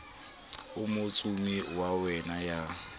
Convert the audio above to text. o motsumi wa meya ya